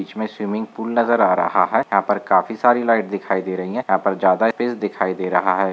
इसमे swimming pool नजर आ रहा है यहां पर काफी सारी लाइट दिखाई दे रही है यहां पर ज्यादा स्पेस दिखाई दे रहा है।